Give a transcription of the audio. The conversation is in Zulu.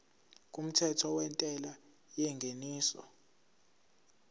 kumthetho wentela yengeniso